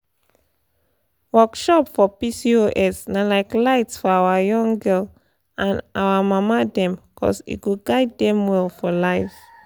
workshop for pcos na like light for our young gal and our mama dem cuz e go guide dem well for life.